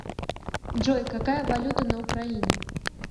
джой какая валюта на украине